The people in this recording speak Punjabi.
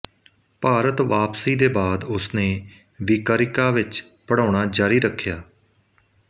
ਭਾਰਤ ਵਾਪਸੀ ਦੇ ਬਾਦ ਉਸ ਨੇ ਵੀਕਰਿਕਾ ਵਿੱਚ ਪੜ੍ਹਾਉਣਾ ਜਾਰੀ ਰੱਖਿਆ